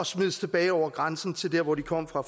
smides tilbage over grænsen til der hvor de kom fra